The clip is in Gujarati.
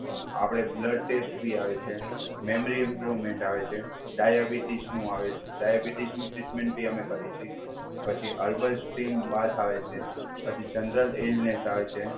આપડે બ્લડ ટેસ્ટથી આવે છે, મેમરી ઈમ્પ્રુવમેન્ટ આવે છે, ડાયાબિટીસનું આવે ડાયાબિટીસની ટ્રીટમેન્ટ બી અમે કરીએ છીએ, પછી અલ્બમ સ્ટીમ બાથ આવે છે, પછી જનરલ એલનેસ આવે છે,